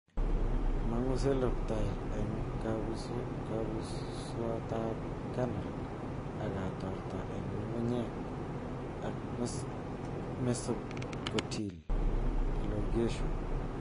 Mong'u coleoptile en kebuswaatab kernel ak kotorta en ngungunyeek ak mesocotyl elongation